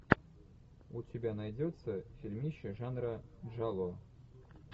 у тебя найдется фильмище жанра джалло